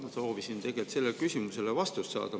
Ma soovisin tegelikult sellele küsimusele vastust saada.